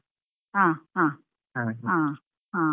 ಹಾ ಹಾ ಹಾ.